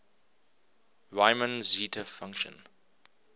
riemann zeta function